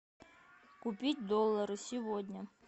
купить доллары сегодня